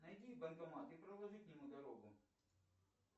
найди банкомат и проложи к нему дорогу